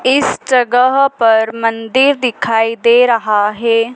इस जगह पर मंदिर दिखाई दे रहा है।